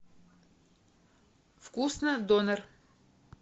вкусно донер